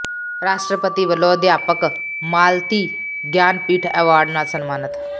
ਰਾਸ਼ਟਰਪਤੀ ਵੱਲੋਂ ਅਧਿਆਪਕ ਮਾਲਤੀ ਗਿਆਨ ਪੀਠ ਐਵਾਰਡ ਨਾਲ ਸਨਮਾਨਤ